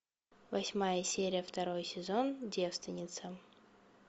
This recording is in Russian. восьмая серия второй сезон девственница